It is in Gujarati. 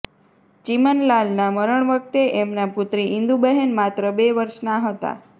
ચીમનલાલના મરણ વખતે એમનાં પુત્રી ઈન્દુબહેન માત્ર બે વર્ષનાં હતાં